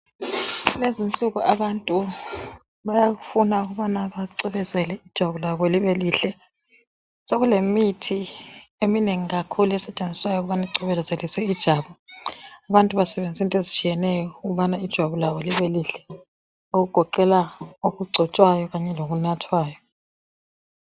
Kulezinsuku abantu bayafuna ukubana bacwebezele ijwabu lwabo libelihle. Sokulemithi eminengi kakhulu esetshenziswayo ukubana kugcebezelise ijwabu abantu basebenzisa into ezitshiyeneyo ukubana ijwabu lalo libe lihle okugoqela okungcotshwayo kanye lokunathwayo.